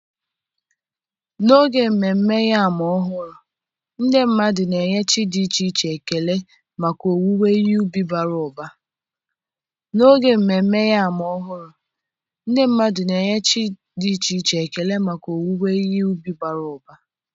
n'oge Ememme Yam Ọhụrụ, ndị mmadụ na-enye chi dị iche iche ekele maka owuwe ihe ubi bara ụba.